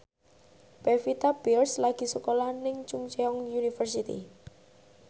Pevita Pearce lagi sekolah nang Chungceong University